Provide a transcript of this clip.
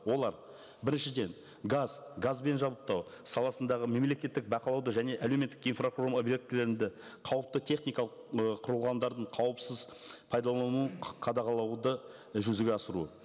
олар біріншіден газ газбен жабдықтау саласындағы мемлекеттік бақылауды және әлеуметтік инфрақұрылымға қауіпті техникалық ы құрылғандардың қауіпсіз пайдалануын қадағалауды жүзеге асыру